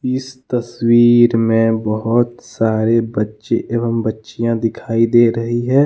इस तस्वीर में बहुत सारे बच्चे एवं बच्चियां दिखाई दे रही हैं।